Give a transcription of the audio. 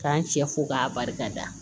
K'an cɛ fo k'a barika da